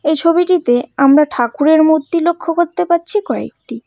এই ছবিটিতে আমরা ঠাকুরের মূর্তি লক্ষ করতে পারছি কয়েকটি।